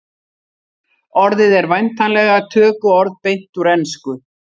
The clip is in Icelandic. orðið er væntanlega tökuorð beint úr ensku